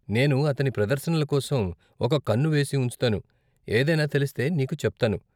నేను అతని ప్రదర్శనల కోసం ఒక కన్ను వేసి ఉంచుతాను, ఏదైనా తెలిస్తే నీకు చెప్తాను.